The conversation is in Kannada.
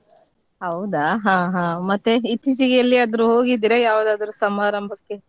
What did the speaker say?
ಹೌದಾ ಹಾ ಹಾ ಮತ್ತೆ ಇತ್ತೀಚಿಗೆ ಎಲ್ಲಿಯಾದ್ರೂ ಹೋಗಿದ್ದೀರಾ ಯಾವ್ದಾದ್ರು ಸಮಾರಂಭಕ್ಕೆ?